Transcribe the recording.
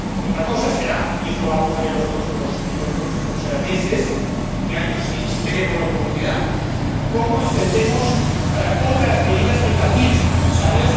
Otra cosa será y esto lo vamos a ver en los próximos meses y años, si tenemos la oportunidad cómo entendemos otras medidas que también son necesarias.